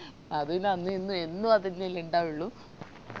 അത് പിന്നാ അന്നും ഇന്നും എന്നും അതെന്നല്ലേ ഇണ്ടാവുള്ളു